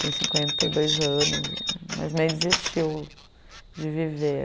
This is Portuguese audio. Tem cinquenta e dois anos, mas meio desistiu de viver.